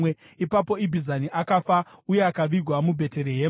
Ipapo Ibhizani akafa, uye akavigwa muBheterehema.